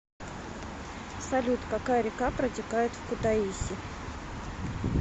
салют какая река протекает в кутаиси